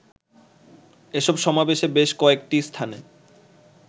এসব সমাবেশে বেশ কয়েকটি স্থানে